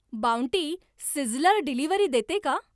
bounty sizzler delivery देते का